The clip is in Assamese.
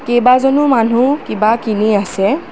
কেইবাজনো মানুহ কিবা কিনি আছে।